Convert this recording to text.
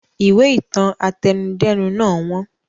Ìwé ìtàn àtẹnudẹ́nu náà wọ́n